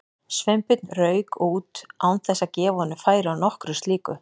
Sveinbjörn rauk út án þess að gefa honum færi á nokkru slíku.